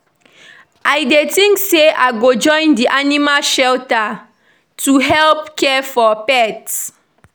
I dey think say I go join di animal shelter to help care for pets.